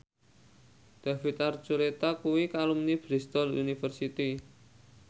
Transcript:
David Archuletta kuwi alumni Bristol university